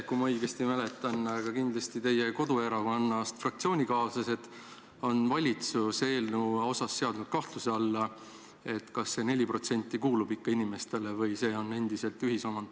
Kui ma õigesti mäletan, siis te ise või vähemalt teie koduerakonnast pärit fraktsioonikaaslased on seadnud valitsuse eelnõu puhul kahtluse alla, kas see 4% kuulub ikka konkreetsele inimesele või on see endiselt ühisomand.